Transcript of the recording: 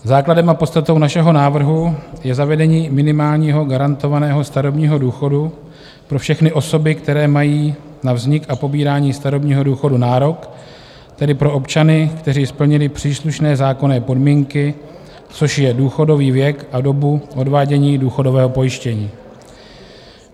Základem a podstatou našeho návrhu je zavedení minimálního garantovaného starobního důchodu pro všechny osoby, které mají na vznik a pobírání starobního důchodu nárok, tedy pro občany, kteří splnili příslušné zákonné podmínky, což je důchodový věk a dobu odvádění důchodového pojištění.